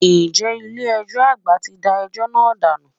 Ǹjẹ́ ilé ẹjọ́ àgbà ti da ẹjọ́ náà dànù?